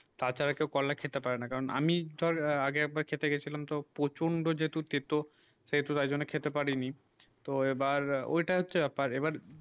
তার ছাড়া কেউ করলা খেতে পারে না আমি ধর আগে খেতে গেছিলাম তো প্রচন্ড যেত তেতো সেই তো তার জন্যে খেতে পারি নি তো এইবার ঐই তা হচ্ছে ব্যাপার এইবার